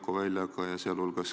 Tal neid kontakte nagu ei olnud.